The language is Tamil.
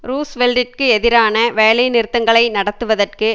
ரூஸ்வெல்ட்டிற்கு எதிராக வேலை நிறுத்தங்களை நடத்துவதற்கு